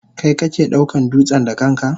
Kai ke daukan dutsen da kanka?